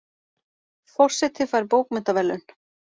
Forseti fær bókmenntaverðlaun